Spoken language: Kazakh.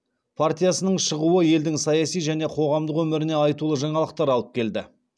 партиясының шығуы елдің саяси және қоғамдық өміріне айтулы жаңалықтар алып келді